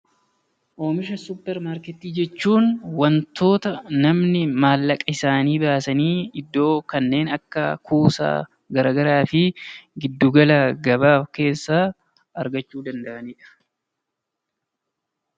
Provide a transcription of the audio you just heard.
Oomishaalee suupparmaarkeetii jechuun wantoota namni maallaqa isaanii baasanii iddoo kanneen akka kuusaa garaagaraa fi giddu gala gabaa keessaa argachuu danda'anidha .